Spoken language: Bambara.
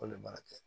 K'o le m'a kɛ